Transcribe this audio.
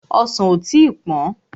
Ọsàn ò tí pọ́n.